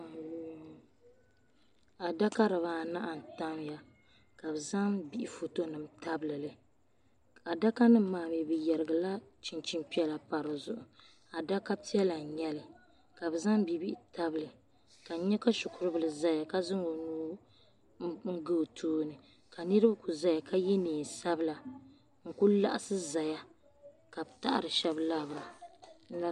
Adaka dibaanahi n-tamya ka bɛ zaŋ bihi fotonima tabili li. Adakanima maa mi bɛ yɛrigila chinchin' piɛla pa di zuɣu. Adaka piɛla n-nyɛ li ka bɛ zaŋ bibihi tabili ka n nya ka shikuribila zaya ka zaŋ o nuu n-ga o tooni ka niriba ku zaya ka ye neen' sabila n-ku laɣisi zaya ka bɛ taɣiri shɛba labisira.